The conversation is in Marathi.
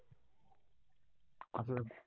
नाॅई